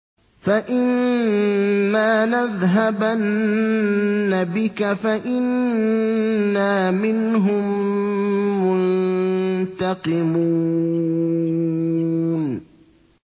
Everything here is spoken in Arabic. فَإِمَّا نَذْهَبَنَّ بِكَ فَإِنَّا مِنْهُم مُّنتَقِمُونَ